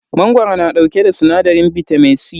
Mangoro na dauke da sinadarin bitamin C.